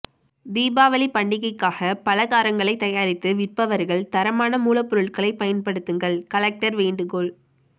தீபாவளி பண்டிகைக்காக பலகாரங்களை தயாரித்து விற்பவர்கள் தரமான மூலப்பொருட்களை பயன்படுத்துங்கள் கலெக்டர் வேண்டுகோள்